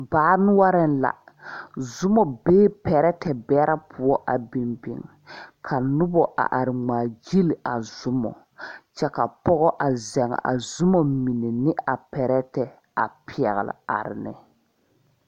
Baa noɔring la zumo bɛɛ pɛretɛ bɛre pou a bing bing ka nuba a arẽ a mgaa gyili a zumo kye ka pɔgo a zeng a zuma mene ne a pɛretɛ a pɛgli arẽ ne.